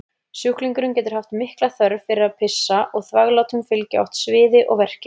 Sjúklingurinn getur haft mikla þörf fyrir að pissa og þvaglátum fylgja oft sviði og verkir.